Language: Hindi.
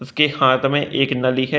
उसके हाथ में एक नली है।